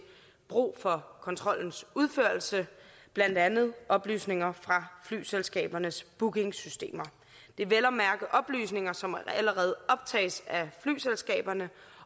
brug for kontrollens udførelse blandt andet oplysninger fra flyselskabernes bookingsystemer det er vel at mærke oplysninger som allerede optages af flyselskaberne